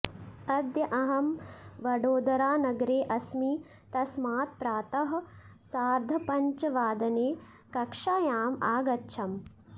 अद्य अहं वडोदरानगरे अस्मि तस्मात् प्रातः सार्धपञ्चवादने कक्षायाम् आगच्छम्